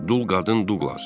Dul qadın Duqlas.